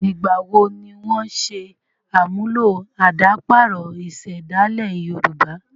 Ìgbà wo ni wọ́n n ṣe àmúlò àdàparo ìsèdálè yorùbá?